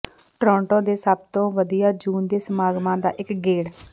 Toronto ਦੇ ਸਭ ਤੋਂ ਵਧੀਆ ਜੂਨ ਦੇ ਸਮਾਗਮਾਂ ਦਾ ਇੱਕ ਗੇੜ